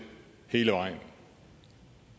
hele vejen